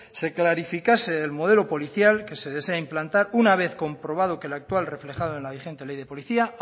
se clarificase el modelo policial que se desea implantar una vez comprobado que la actual reflejado en la vigente ley de policía